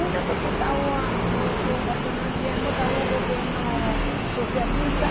Uma porque tavam o o quando nós viemos, estava um governo socialista.